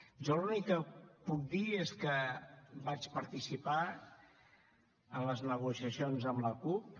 jo l’únic que puc dir és que vaig participar en les negociacions amb la cup